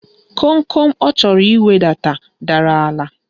Komkom ọ chọrọ iwedata dara n'ala.